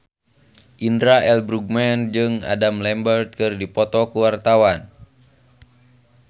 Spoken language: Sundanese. Indra L. Bruggman jeung Adam Lambert keur dipoto ku wartawan